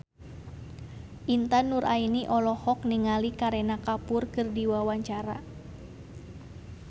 Intan Nuraini olohok ningali Kareena Kapoor keur diwawancara